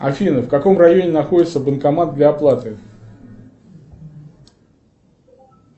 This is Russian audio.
афина в каком районе находится банкомат для оплаты